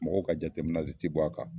Mɔgɔw ka jateminɛ li ti bɔ a ka.